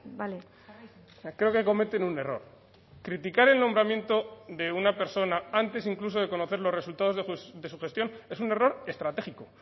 bale creo que cometen un error criticar el nombramiento de una persona antes incluso de conocer los resultados de su gestión es un error estratégico